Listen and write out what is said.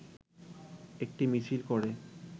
একটি মিছিল করে